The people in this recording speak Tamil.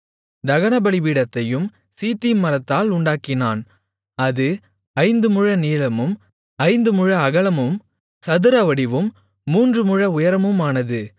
தகனபலிபீடத்தையும் சீத்திம் மரத்தால் உண்டாக்கினான் அது ஐந்து முழநீளமும் ஐந்து முழ அகலமும் சதுரவடிவும் மூன்று முழ உயரமுமானது